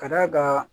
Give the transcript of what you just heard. Ka d'a kan